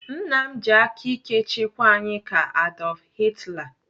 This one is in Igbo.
Nna m ji aka ike chịkwa anyị ka Adolf Hitler.